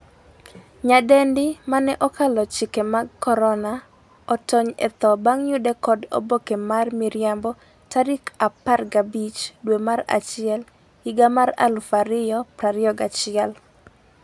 nyadendi mane 'okalo chike mag korona' otony e tho bang' yude kod oboke mar miriambo tarik 15 dwe mar achiel higa mar 2021